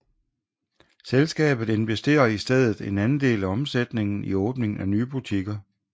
Selskabet investerer i stedet en andel af omsætningen i åbningen af nye butikker